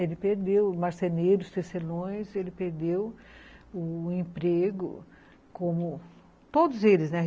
Ele perdeu, marceneiros, tecelões, ele perdeu o emprego, como todos eles, né?